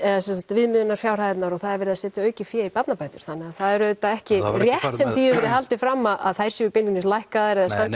viðmiðunarfjárhæðirnar og það er verið að setja aukið fé í barnabætur þannig það er auðvitað ekki rétt hefur verið haldið fram að þær séu beinlínis lækkaðar eða standi